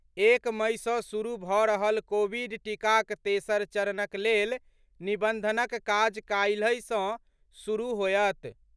एक मई सँ शुरू भऽ रहल कोविड टीकाक तेसर चरणक लेल निबंधनक काज काल्हि सँ शुरू होयत।